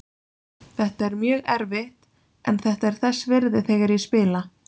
Þetta er mjög erfitt en þetta er þess virði þegar ég spila.